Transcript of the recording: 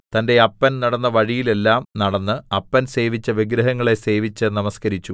തന്റെ അപ്പൻ നടന്ന വഴിയിലെല്ലാം നടന്ന് അപ്പൻ സേവിച്ച വിഗ്രഹങ്ങളെ സേവിച്ച് നമസ്കരിച്ചു